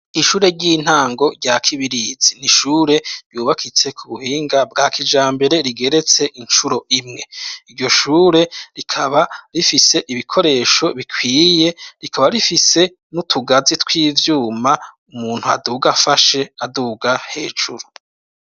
Ishure ry'intango rya Kibirizi niishure byubakitse ku buhinga bwa kijambere rigeretse inshuro imwe iryo shure rikaba rifise ibikoresho bikwiye rikaba rifise n'utugazi tw'ivyuma umuntu aduga afashe aduhuga hejuru.